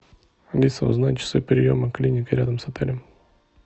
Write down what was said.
алиса узнай часы приема клиники рядом с отелем